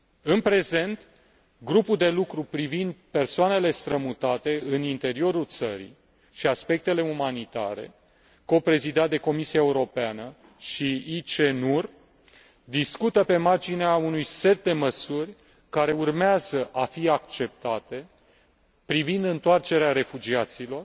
În prezent, grupul de lucru privind persoanele strămutate în interiorul țării și aspectele umanitare, coprezidat de Comisia Europeană și ICENUR, discută pe marginea unui set de măsuri care urmează a fi acceptate privind întoarcerea refugiaților,